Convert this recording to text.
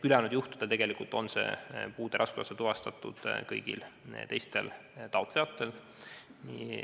Ülejäänud juhtudel on puude raskusaste tuvastatud kõigil taotlejatel.